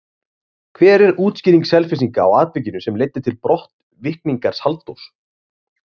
Hver er útskýring Selfyssinga á atvikinu sem leiddi til brottvikningar Halldórs?